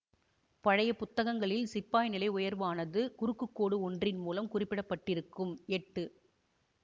பழைய புத்தகங்களில் சிப்பாய் நிலை உயர்வானது குறுக்கு கோடு ஒன்றின் மூலம் குறிப்பிடப்பட்டிருக்கும் எட்டு